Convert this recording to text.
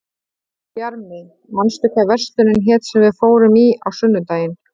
Bjarmi, manstu hvað verslunin hét sem við fórum í á sunnudaginn?